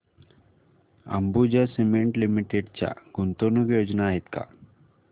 Ambuja cement limited च्या गुंतवणूक योजना आहेत का